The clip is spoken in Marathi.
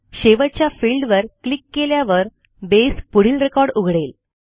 शेवटच्या फिल्डवर क्लिक केल्यावर बेस पुढील रेकॉर्ड उघडेल